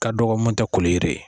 Ka dɔgɔ mun tɛ koli yiri ye.